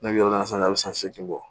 Ne bɛ yɔrɔ min na san a bɛ san seegin bɔ